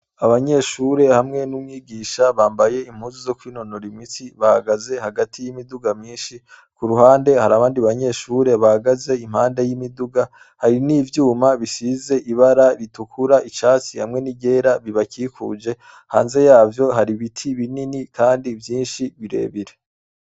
Abanyeshuri hamwe n'umwigisha bambaye impuzu zo kwinonora imitsi bahagaze hagati y'imiduga myishi kuruhande hari abandi banyeshuri bahagaze impande y'imiduga hari n'ivyuma bisize ibara ritukura, icatsi hamwe n'iryera ribakikuje, hanze yaho hari ibiti binini kandi vyishi birebire.